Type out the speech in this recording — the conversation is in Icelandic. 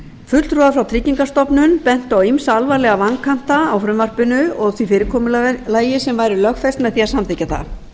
fulltrúar tryggingastofnunar bentu á ýmsa alvarlega vankanta á frumvarpinu og því fyrirkomulagi sem væri lögfest með því að samþykkja það